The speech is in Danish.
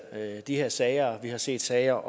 de her sager vi har set sager